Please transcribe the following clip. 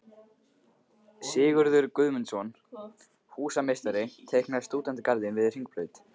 Sigurður Guðmundsson, húsameistari, teiknaði stúdentagarðinn við Hringbraut.